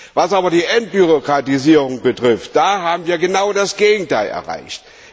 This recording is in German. Was aber die Entbürokratisierung betrifft, haben wir genau das Gegenteil erreicht.